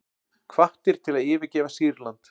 Hvattir til að yfirgefa Sýrland